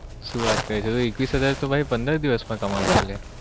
શું વાત કરે ભાઈ એકવીસ હજાર તો ભાઈ પંદર દિવસ માં કમાવું છુ અલ્યા